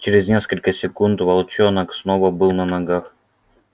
через несколько секунд волчонок снова был на ногах